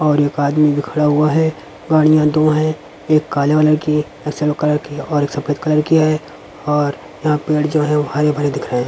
और एक आदमी भी खड़ा हुआ है गाड़ियां दो हैं एक काले कलर की एक सिल्वर कलर की और सफेद कलर कि है और यहां पेड़ जो हैं वो हरे भरे दिख रहे हैं।